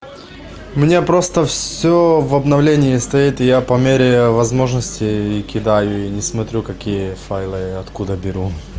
мне просто всё в обновление стоит я по мере возможности и кидаю и не смотрю какие файлы и откуда беру